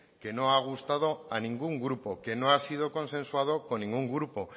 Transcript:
que no ha gustado a ningún grupo que no ha sido consensuado con ningún grupo